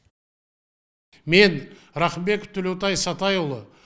мен рақымбеков төлеутай сатайұлы